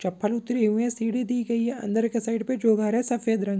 चप्पल उतरी हुई है सीढ़ी दी गई है अंदर के साइड पे जो घर है सफेद रंग --